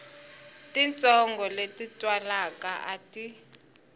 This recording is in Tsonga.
titsongo leti twalaka a ti